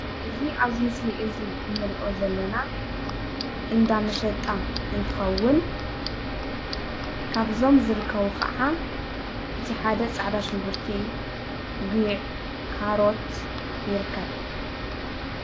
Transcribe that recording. እዚ ኣብዚ ምስሊ እዚ እንሪኦ ዘለና እንዳ መሸጣ እንትኸውን ካብዞም ዝርከቡ ኸዓ እቲ ሓደ ፃዕዳ ሽንጉርቲ ፣ጉዕ ፣ ካሮት ይርከብ ።